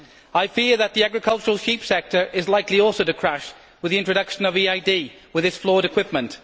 I fear that the agricultural sheep sector is also likely to crash with the introduction of EID, with its flawed equipment.